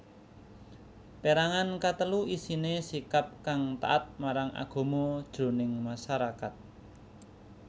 Pérangan katelu isiné sikap kang taat marang agama jroning masarakat